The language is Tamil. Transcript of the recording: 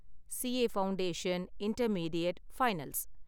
CA foundation, intermediate, finals